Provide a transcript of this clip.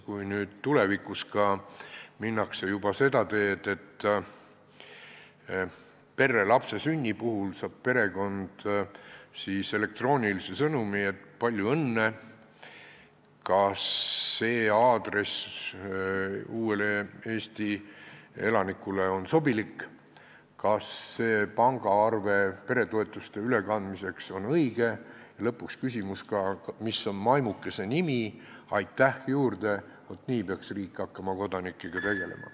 Kui tulevikus minnakse juba seda teed, et lapse sünni puhul saab perekond elektroonilise sõnumi, et palju õnne, kas see aadress uuele Eesti elanikule on sobilik, kas see pangaarve peretoetuste ülekandmiseks on õige, ja lõpus on ka küsimus, mis on maimukese nimi, "Aitäh!" veel juurde, siis vaat nii peakski riik hakkama kodanikega tegelema.